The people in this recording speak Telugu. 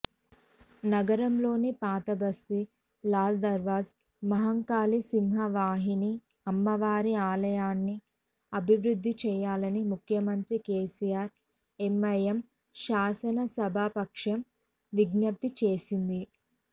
నగరంలోని పాతబస్తీ లాల్దర్వాజ మహంకాళి సింహవాహిని అమ్మవారి ఆలయాన్ని అభివృద్ధి చేయాలని ముఖ్యమంత్రి కేసీఆర్కు ఎంఐఎం శాసనసభాపక్షం విజ్ఞప్తి చేసింది